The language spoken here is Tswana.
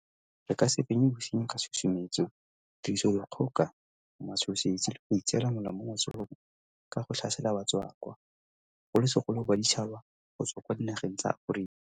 Re ka se fenye bosenyi ka tshusumetso, tirisodikgoka, matshosetsi le go itseela molao mo matsogong ka go tlhasela batswakwa, bogolosegolo baditšhaba go tswa kwa dinageng tsa Aforika.